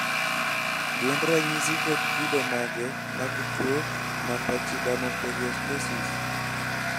gin ranyisi kod kido mage mag tuwo marpachydermoperiostosis ?